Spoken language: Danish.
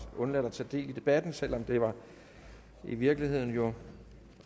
undladt at tage del i debatten selv om det jo i virkeligheden var